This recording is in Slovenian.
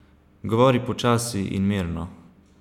Govori počasi in mirno!